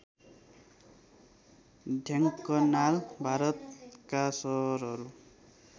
ढेङ्कनाल भारतका सहरहरू